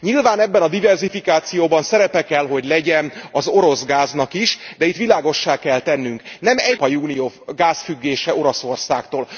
Nyilván ebben a diverzifikációban szerepe kell, hogy legyen az orosz gáznak is, de itt világossá kell tennünk nem egyoldalú az Európai Unió gázfüggése Oroszországtól.